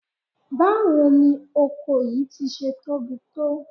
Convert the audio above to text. Báwo ni oko yìí ti ṣe tóbi tó?